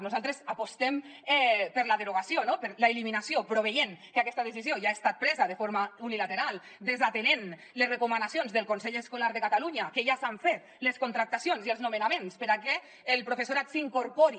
nosaltres apostem per la derogació no per l’eliminació però veient que aquesta decisió ja ha estat presa de forma unilateral desatenent les recomanacions del consell escolar de catalunya que ja s’han fet les contractacions i els nomenaments perquè el professorat s’incorpori